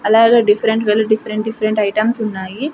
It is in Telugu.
అలాగే different variety different different items ఉన్నాయి.